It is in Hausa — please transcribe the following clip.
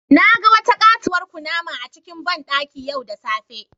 Na ga wata katuwar kunama a cikin bandaki yau da safe.